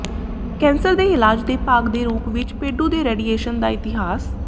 cancer ਦੇ ਇਲਾਜ ਦੇ ਭਾਗ ਦੇ ਰੂਪ ਵਿਚ ਪੇਡੂ ਦੇ ਰੇਡੀਏਸ਼ਨ ਦਾ ਇਤਿਹਾਸ